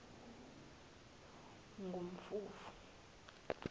kumfumfu